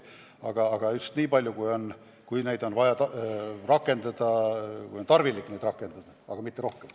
Tohib riivata just nii palju, kui on vaja, mitte rohkem.